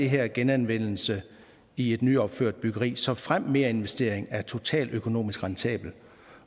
her genanvendelse i et nyopført byggeri såfremt merinvestering er totaløkonomisk rentabel